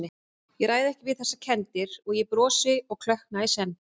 Ég ræð ekki við þessar kenndir- og ég brosi og klökkna í senn.